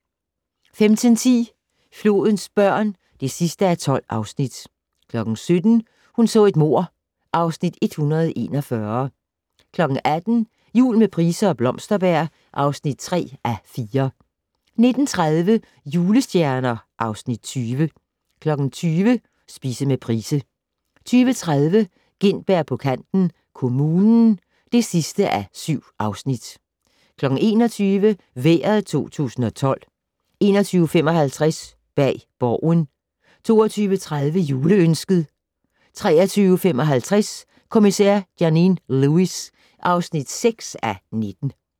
15:10: Flodens børn (12:12) 17:00: Hun så et mord (Afs. 141) 18:00: Jul med Price og Blomsterberg (3:4) 19:30: Julestjerner (Afs. 20) 20:00: Spise med Price 20:30: Gintberg på kanten - Kommunen (7:7) 21:00: Vejret 2012 21:55: Bag Borgen 22:30: Juleønsket 23:55: Kommissær Janine Lewis (6:19)